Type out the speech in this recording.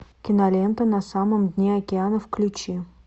кинолента на самом дне океана включи